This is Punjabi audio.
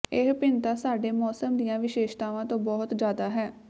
ਇਹ ਭਿੰਨਤਾ ਸਾਡੇ ਮੌਸਮ ਦੀਆਂ ਵਿਸ਼ੇਸ਼ਤਾਵਾਂ ਤੋਂ ਬਹੁਤ ਜ਼ਿਆਦਾ ਹੈ